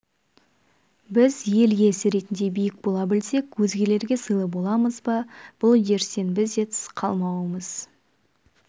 біз ел иесі ретінде биік бола білсек өзгелерге сыйлы боламыз бұл үдерістен біз де тыс қалмауымыз